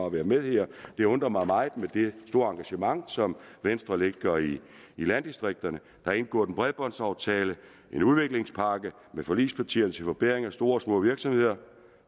at være med her det undrer mig meget med det store engagement som venstre lægger i landdistrikterne der er indgået en bredbåndsaftale en udviklingspakke med forligspartierne til forbedring af store og små virksomheder